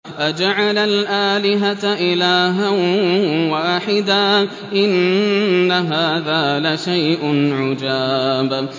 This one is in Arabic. أَجَعَلَ الْآلِهَةَ إِلَٰهًا وَاحِدًا ۖ إِنَّ هَٰذَا لَشَيْءٌ عُجَابٌ